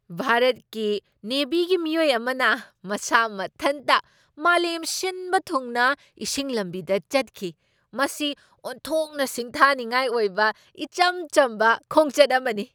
ꯚꯥꯔꯠꯀꯤ ꯅꯦꯚꯤꯒꯤ ꯃꯤꯑꯣꯏ ꯑꯃꯅ ꯃꯁꯥ ꯃꯊꯟꯇ ꯃꯥꯂꯦꯝ ꯁꯤꯟꯕ ꯊꯨꯡꯅ ꯏꯁꯤꯡ ꯂꯝꯕꯤꯗ ꯆꯠꯈꯤ꯫ ꯃꯁꯤ ꯑꯣꯟꯊꯣꯛꯅ ꯁꯤꯡꯊꯥꯅꯤꯡꯉꯥꯏ ꯑꯣꯏꯕ ꯏꯆꯝ ꯆꯝꯕ ꯈꯣꯡꯆꯠ ꯑꯃꯅꯤ !